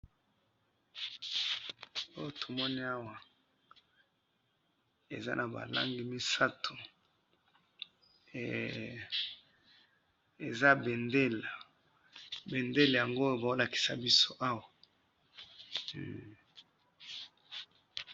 oyo tomoni awa eza naba langi misatou hehe eza bendela bendela yango bazo lakisa biso awa.